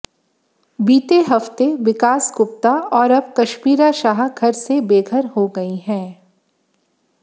बीते हफ्ते विकास गुप्ता और अब कश्मीरा शाह घर से बेघर हो गई हैं